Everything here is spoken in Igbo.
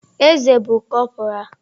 Eze bụ cọpora.